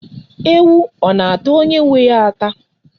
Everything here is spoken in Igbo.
Ewu ọ na-ata onye nwe ya ata?